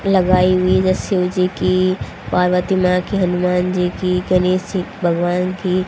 लगाई हुई ये शिव जी की पार्वती माँ की हनुमान जी की गणेश जी भगवान की--